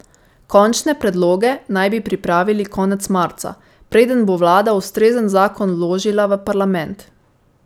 Končne predloge naj bi pripravil konec marca, preden bo vlada ustrezen zakon vložila v parlament.